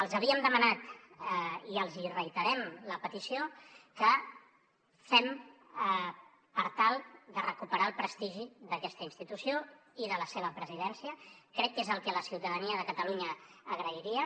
els havíem demanat i els hi reiterem la petició que fem per tal de recuperar el prestigi d’aquesta institució i de la seva presidència crec que és el que la ciutadania de catalunya agrairia